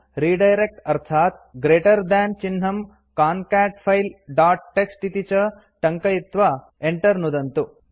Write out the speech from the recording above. redirect अर्थात् greater than चिह्नं concat file dot TXT इति च टङ्कयित्वा enter नुदन्तु